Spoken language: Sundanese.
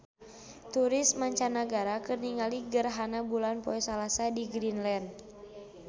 Turis mancanagara keur ningali gerhana bulan poe Salasa di Greenland